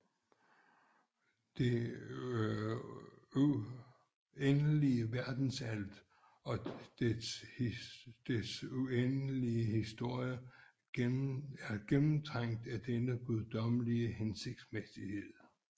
Det uendelige verdensalt og dets uendelige historie er gennemtrængt af denne guddommelige hensigtsmæssighed